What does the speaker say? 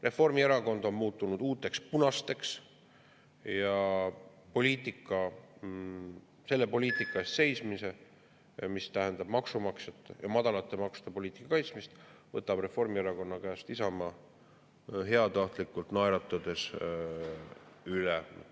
Reformierakond on muutunud uuteks punasteks ja selle poliitika eest seismise, mis tähendab maksumaksjate ja madalate maksude poliitika kaitsmist, võtab Isamaa Reformierakonna käest heatahtlikult naeratades üle.